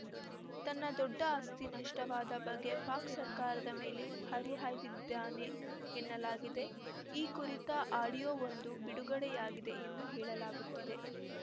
ತನ್ನ ದೊಡ್ಡ ಆಸ್ತಿ ನಷ್ಟವಾದ ಬಗ್ಗೆ ಪಾಕ್‌ ಸರ್ಕಾರದ ಮೇಲೆ ಹರಿಹಾಯ್ದಿದ್ದಾನೆ ಎನ್ನಲಾಗಿದ್ದು ಈ ಕುರಿತ ಆಡಿಯೋವೊಂದು ಬಿಡುಗಡೆಯಾಗಿದೆ ಎಂದು ಹೇಳಲಾಗುತ್ತಿದೆ